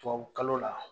Tubabukalo la